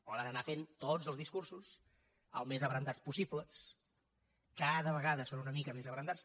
poden anar fent tots els discursos el més abrandats possible cada vegada són una mica més abrandats